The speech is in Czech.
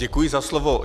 Děkuji za slovo.